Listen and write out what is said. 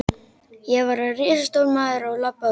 Ég varð risastór maður og labbaði út.